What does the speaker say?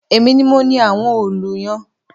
Èmi ni mo ni àwọn òòlù yẹn